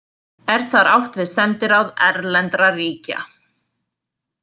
Er þar átt við sendiráð erlendra ríkja.